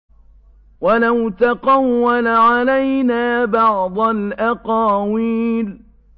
وَلَوْ تَقَوَّلَ عَلَيْنَا بَعْضَ الْأَقَاوِيلِ